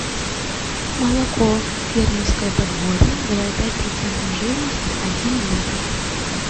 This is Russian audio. молоко фермерское подворье два и пять процентов жирности один литр